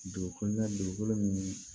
Dugu kɔnɔna dugukolo min